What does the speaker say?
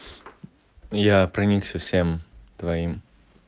я проникся всем твоим